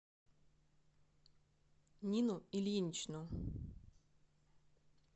нину ильиничну